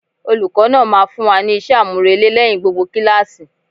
Olùkó náà máa fún wa ní isé àmúrelé lẹ́yìn gbogbo kíláàsì.